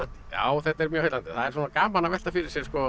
já þetta er mjög heillandi það er svona gaman að velta fyrir sér sko